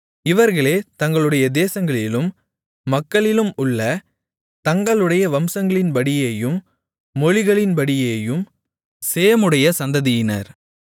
இவர்களே தங்களுடைய தேசங்களிலும் மக்களிலுமுள்ள தங்களுடைய வம்சங்களின்படியேயும் மொழிகளின்படியேயும் சேமுடைய சந்ததியினர்